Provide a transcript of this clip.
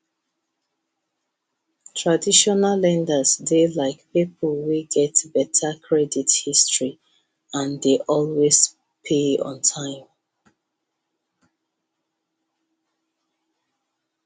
traditional lenders dey like people wey get better credit history and dey always pay on time